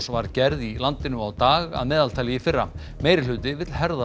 var gerð í landinu á dag að meðaltali í fyrra meirihluti vill herða